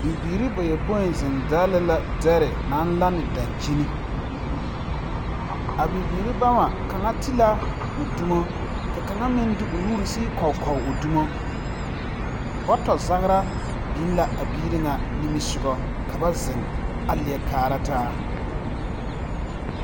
Bibiiri bayɔpoi zeŋ dɛli la dɛri naŋ laŋne daŋkyini a bibiiri bama kaŋa ti la o dumo ka kaŋa meŋ di o nuuri sigi kɔgkɔg o dumo bɔtɔ zagra biŋ la a biiri ŋa nimisugɔ ka ba zeŋ a leɛ kaaraa taa.